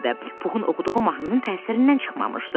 Puxun oxuduğu mahnının təsirindən çıxmamışdı.